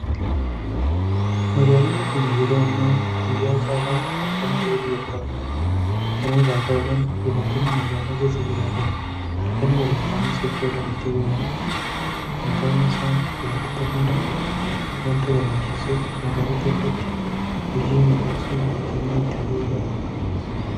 Magaalonni keenya yeroo ammaa guyyaa caala halkan bareeduu jalqabaniiru. Kana irraa ka'uudhaan jiraattonni magaalaa keessa jiraatan halkan waliin ta'anii socho'uudhaan itti bohaaru. Kun ta'uun isaa jiraattota hunda waanta gammachiisuuf magaalota hundatti hojiin miidhaksuu cimee itti fufuu qaba.